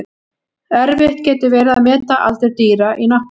Erfitt getur verið að meta aldur dýra í náttúrunni.